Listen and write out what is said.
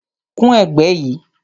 Kun ẹ̀gbẹ́ yìí